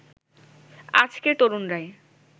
আজকের তরুণরাই